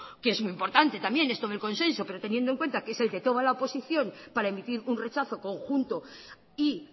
que es muy importante también esto del consenso pero teniendo en cuenta que es el de toda la oposición para emitir un rechazo conjunto y